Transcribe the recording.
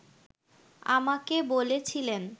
আমাকে বলেছিলেন